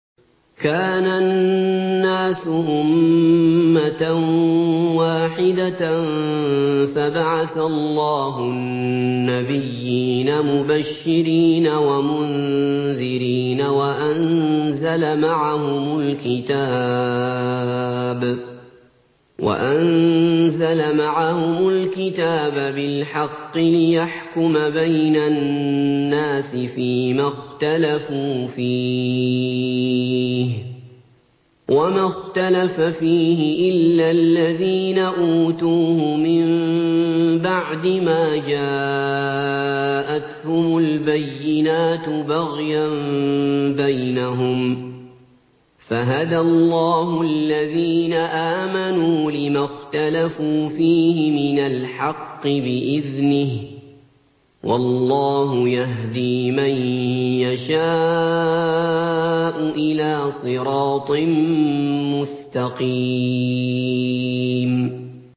كَانَ النَّاسُ أُمَّةً وَاحِدَةً فَبَعَثَ اللَّهُ النَّبِيِّينَ مُبَشِّرِينَ وَمُنذِرِينَ وَأَنزَلَ مَعَهُمُ الْكِتَابَ بِالْحَقِّ لِيَحْكُمَ بَيْنَ النَّاسِ فِيمَا اخْتَلَفُوا فِيهِ ۚ وَمَا اخْتَلَفَ فِيهِ إِلَّا الَّذِينَ أُوتُوهُ مِن بَعْدِ مَا جَاءَتْهُمُ الْبَيِّنَاتُ بَغْيًا بَيْنَهُمْ ۖ فَهَدَى اللَّهُ الَّذِينَ آمَنُوا لِمَا اخْتَلَفُوا فِيهِ مِنَ الْحَقِّ بِإِذْنِهِ ۗ وَاللَّهُ يَهْدِي مَن يَشَاءُ إِلَىٰ صِرَاطٍ مُّسْتَقِيمٍ